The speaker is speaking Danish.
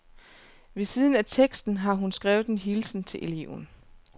Ved siden af teksten har hun skrevet en hilsen til eleven.